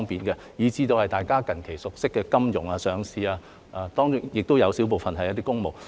我亦提過大家近期熟悉的給予金融業及上市公司的豁免，亦有小部分涉及公務。